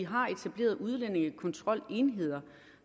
har etableret udlændingekontrolenheder